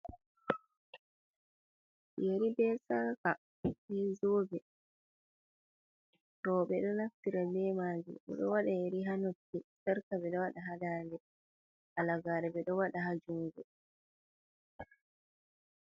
Yeri be saka be zoɓe: Roɓe ɗo naftira be majum ɗo wada yeri ha noppi sarga ɓe ɗo wada ha ɗanɗe halagare ɓe ɗo wada ha jungo.